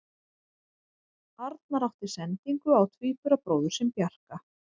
Arnar átti sendingu á tvíburabróðir sinn Bjarka.